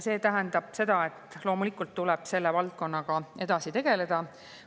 See tähendab seda, et loomulikult tuleb selle valdkonnaga edasi tegeleda.